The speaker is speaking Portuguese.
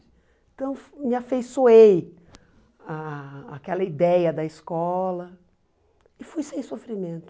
Então me afeiçoei ah àquela ideia da escola e fui sem sofrimento.